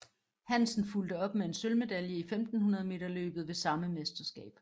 Hansen fulgte op med en sølvmedalje i 1500 meter løbet ved samme mesterskab